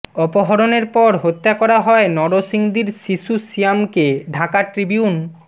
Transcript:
অপহরণের পর হত্যা করা হয় নরসিংদীর শিশু সিয়ামকে ঢাকা ট্রিবিউন